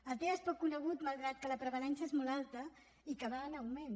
el tea és poc conegut malgrat que la prevalença és molt alta i que va en augment